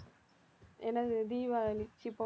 என்னது தீபாவளி